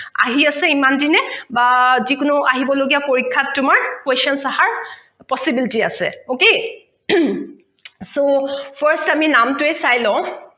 আহি আছে ইমান দিনে বা যিকোনো আহিব লগীয়া পৰিক্ষাত তোমাৰ questions অহাৰ possibility আছে ok হম so first আমি নাম টোৱেই চাই লওঁ